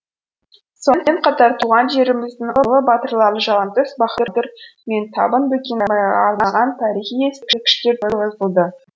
сонымен қатар туған жеріміздің ұлы батырлары жалаңтөс бахадүр мен табын бөкенбайға арналған тарихи ескерткіштер тұрғызылды